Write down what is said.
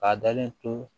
K'a dalen to